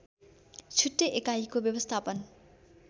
छुट्टै एकाइको व्यवस्थापन